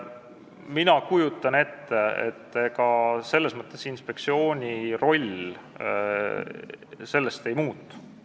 Mina kujutan ette, et ega inspektsiooni roll sellest ei muutu.